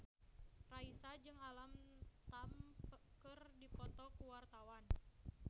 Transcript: Raisa jeung Alam Tam keur dipoto ku wartawan